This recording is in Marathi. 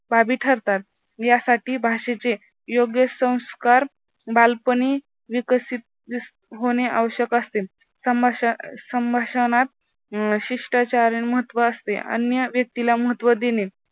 बाबी ठरतात. यासाठी भाषेचे योग्य संस्कार बालपणी विकसित होणे आवश्यक असते. समस्या समस्यांना शिष्टाचार्य महत्त्व असते. अन्य व्यक्तीला महत्त्व देणे